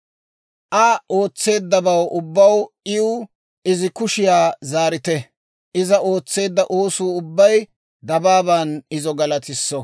Aa ootseeddabaw ubbaw iw izi kushiyaa zaarite; iza ootseedda oosuu ubbay dabaaban izo galatisso.